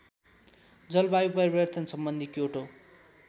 जलवायु परिवर्तनसम्बन्धी क्योटो